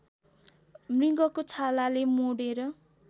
मृगको छालाले मोडेर